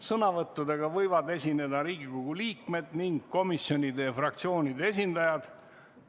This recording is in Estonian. Sõnavõttudega võivad esineda Riigikogu liikmed ning komisjonide ja fraktsioonide esindajad.